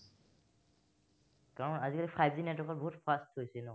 কাৰন আজিকালি five g network ত বহুত fast হৈছে ন